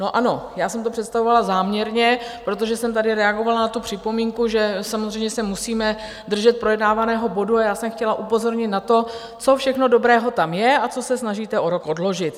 No ano, já jsem to představovala záměrně, protože jsem tady reagovala na tu připomínku, že samozřejmě se musíme držet projednávaného bodu, a já jsem chtěla upozornit na to, co všechno dobrého tam je a co se snažíte o rok odložit.